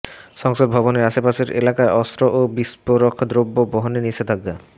সংসদ ভবনের আশপাশের এলাকায় অস্ত্র ও বিস্ফোরক দ্রব্য বহনে নিষেধাজ্ঞা